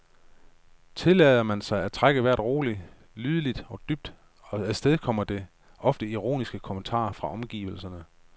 Tillader man sig at trække vejret roligt, lydligt og dybt, afstedkommer det ofte ironiske kommentarer fra omgivelserne.